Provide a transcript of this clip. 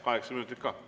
Kaheksa minutit.